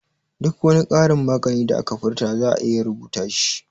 Duk wani karin maganan da aka furta za'a iya rubuta shi